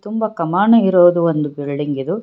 ತುಂಬಾ ಕಮಾನು ಇರೋದು ಒಂದು ಬಿಲ್ಡಿಂಗ್ ಇದು.